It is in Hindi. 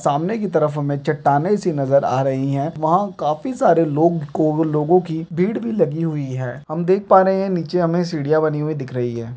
सामने की तरफ हमें चट्टानें सी नजर आ रही है| वहाँ काफी सारे लोग लोगों की भीड़ भी लगी हुई है| हम देख पा रहे हैं नीचे हमें सीढ़ियां बनी हुई दिख रही है।